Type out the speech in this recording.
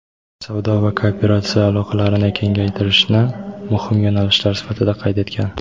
savdo va kooperatsiya aloqalarini kengaytirishni muhim yo‘nalishlar sifatida qayd etgan.